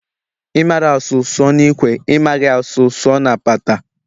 Ị mara asụ, ị sụọ n'ikwe, ị maghị a sụọ ị sụọ na apata